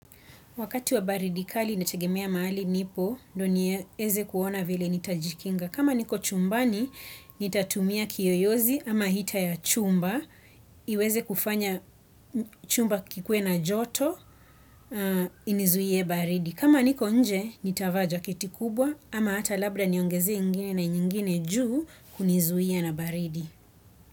Wakati wa baridi kali inategemea mahali nipo, ndiyo niweze kuona vile nitajikinga. Kama niko chumbani, nitatumia kiyoyozi ama hita ya chumba. Iweze kufanya chumba kikuwe na joto, inizuie baridi. Kama niko nje, nitavaa jaketi kubwa ama hata labda niongeze ingine na nyingine juu kunizuia na baridi.